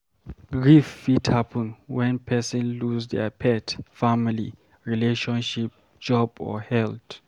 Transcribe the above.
Grief fit happen when person lose their pet, family, relationship, job or health